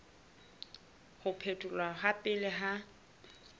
ho phetholwa ha pele ha